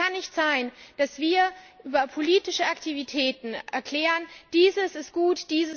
Es kann nicht sein, dass wir über politische Aktivitäten erklären Dieses ist gut